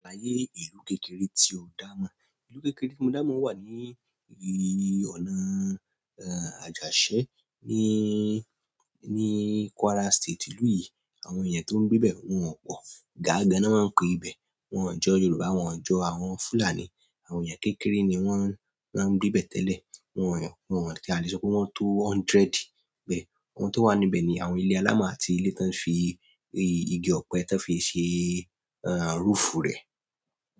Ààyè ìlú kékeré tí o dá mọ̀. Ìlú kékeré tí mo dá mọ̀ wà ní ì, ọ̀nà, eeh, Àjàṣẹ́ nííí, ní Kwara State. Ìlú yìí àwọn èèyàn tó ń gbé bẹ́ẹ̀ wọ́n pọ̀. Gáa gan ná máa ń pe ibẹ̀. Wọn ò jọ́ Yorùbá, wọn ò jọ́ àwọn Fulani. Àwọn èèyàn kékeré ni wọ́n, wọ́n ń gbé bẹ́ẹ̀ tẹ́lẹ̀. Wọn ò, wọn ò tí a lè sọ pé wọ́n tó hundred bẹ́ẹ̀. Ohun tó wà ní ibẹ̀ ni àwọn ilé alámọ̀ àti ilé tí wọ́n fí í, igi ọ̀pẹ tí wọ́n fi ṣe, eeh, roofu rẹ̀.